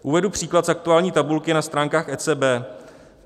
Uvedu příklad z aktuální tabulky na stránkách ECB.